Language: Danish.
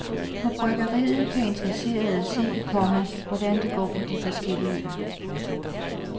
På bryggeriet kan interesserede se, komma hvordan det går med de forskellige øl. punktum